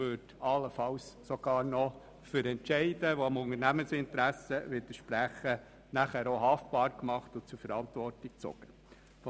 Allenfalls würde man sogar noch für Entscheide, die dem Unternehmensinteresse widersprechen, haftbar gemacht und zur Verantwortung gezogen.